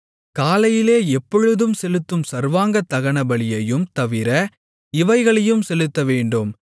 காலையிலே எப்பொழுதும் செலுத்தும் சர்வாங்கதகனபலியையும் தவிர இவைகளையும் செலுத்தவேண்டும்